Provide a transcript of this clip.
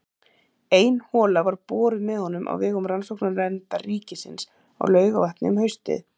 Ein hola var boruð með honum á vegum Rannsóknanefndar ríkisins á Laugarvatni um haustið.